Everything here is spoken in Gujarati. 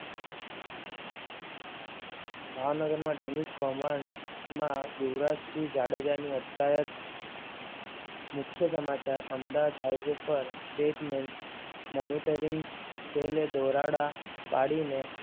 ભાવનગરમાં ડમી કૌભાંડ માં યુવરાજસિંહ જાડેજા ની અટકાયત. મુખ્ય સમાચાર અમદાવાદ હાઈવે પર Statement Monitoring Cell દરોડા પાડીને